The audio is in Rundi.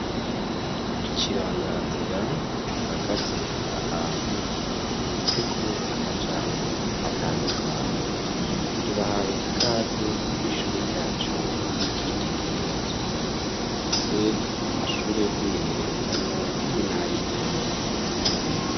Ikiranganzira gihagaze ahantu canditseko amajambo atandukanye tubahaye ikaze kw'ishure ryacu ry'icitegererezo rifise amashure yo kwimenyererezamwo hamwe nayintango.